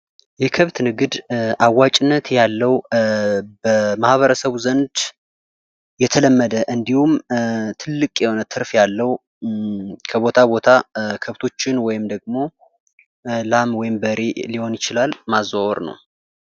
የከብት ንግድ አዋጭነት ያለው በማህበረሰብ ዘንድ የተለመደ እንዲሁም ትልቅ የሆነ ትርፍ ያለው ከቦታ ቦታ ከብቶችን ወይም ደግሞ ላም ወይም በሬ ሊሆን ይችላል ማዘዋወር ነው።